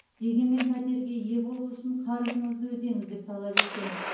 дегенмен пәтерге ие болу үшін қарызыңызды өтеңіз деп талап еткен